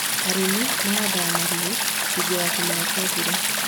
Arĩmi mahandaga marigũ hingo ya kĩmera kĩa mbura